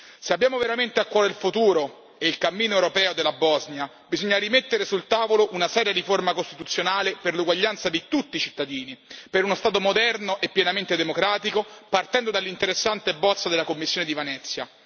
Se abbiamo veramente a cuore il futuro e il cammino europeo della Bosnia, bisogna rimettere sul tavolo una seria riforma costituzionale per l'uguaglianza di tutti i cittadini, per uno Stato moderno e pienamente democratico, partendo dall'interessante bozza della commissione di Venezia.